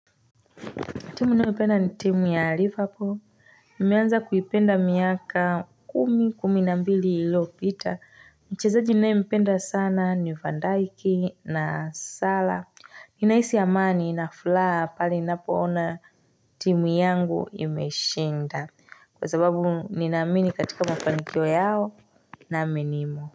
Timu ninayoipenda ni timu ya Liverpool. Nimeanza kuipenda miaka kumi, kumi na mbili ilopita. Mchezaji ninayempenda sana ni Van Dajk na Salah. Ninahisi amani na furaha pale ninapoona timu yangu imeshinda. Kwa sababu ninaamini katika mafanikio yao naamini.